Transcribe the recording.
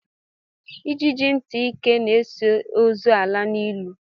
Ijiji ntị ike na-eso ozu ala n'ili